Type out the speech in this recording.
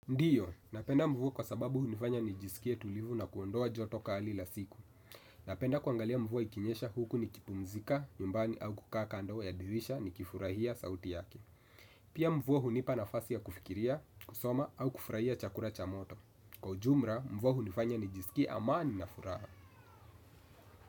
Ndio, napenda mvua kwa sababu hunifanya nijisikie tulivu na kuondoa joto kali la siku. Napenda kuangalia mvua ikinyesha huku nikipumzika, nyumbani au kukakaa kando ya dirisha nikifurahia sauti yake. Pia mvua hunipa nafasi ya kufikiria, kusoma au kufurahia chakula cha moto. Kwa ujumla, mvua hunifanya nijisikie amani na furaha.